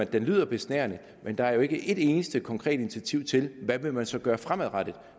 det lyder besnærende men der er jo ikke et eneste konkret initiativ til hvad man så vil gøre fremadrettet